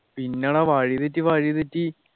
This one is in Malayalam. പിന്നെ എടാ വഴി തെറ്റി വഴി തെറ്റി